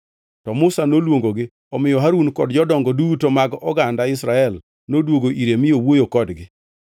To Musa noluongogi; omiyo Harun kod jodongo duto mag oganda Israel noduogo ire mi owuoyo kodgi.